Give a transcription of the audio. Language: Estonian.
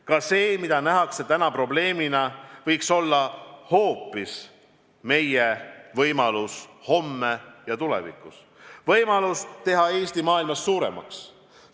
Kas see, mida praegu nähakse probleemina, võiks tulevikus olla hoopis meie võimalus teha Eesti maailmas suuremaks?